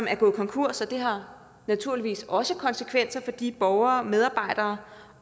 er gået konkurs og det har naturligvis også konsekvenser for de borgere medarbejdere